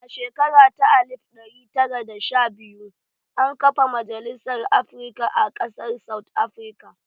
A shekara ta alif ɗari tara da sha biyu, an kafa Majalisar Afrika a ƙasar South Afrika